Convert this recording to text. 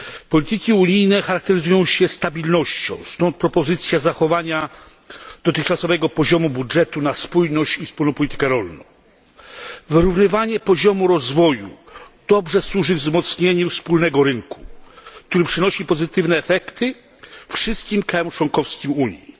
Polityki unijne charakteryzują się stabilnością, stąd propozycja zachowania dotychczasowego budżetu na spójność i wspólną politykę rolną. Wyrównywanie poziomu rozwoju dobrze służy wzmocnieniu wspólnego rynku, który przynosi pozytywne efekty wszystkim państwom członkowskim w Unii.